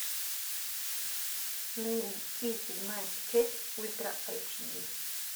найти седьмая печать ультра эйч ди